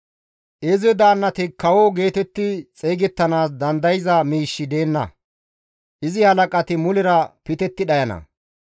Izi daannati kawo geetetti xeygettanaas dandayza miishshi deenna; izi halaqati mulera pitetti dhayana.